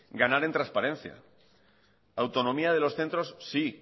ganar en trasparencia autonomía de los centros sí